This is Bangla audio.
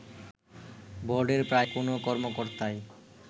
বোর্ডের প্রায় কোনও কর্মকর্তাই